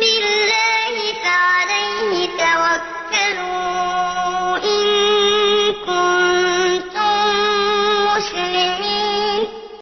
بِاللَّهِ فَعَلَيْهِ تَوَكَّلُوا إِن كُنتُم مُّسْلِمِينَ